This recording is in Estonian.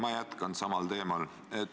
Ma jätkan samal teemal.